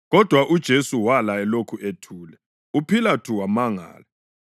Kodwa uJesu wala elokhu ethule, uPhilathu wamangala.